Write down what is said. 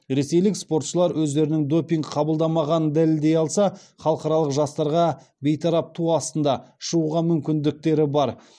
ресейлік спортшылар өздерінің допинг қабылдамағанын дәлелдей алса халықаралық жастарға бейтарап ту астында шығуға мүмкіндіктері бар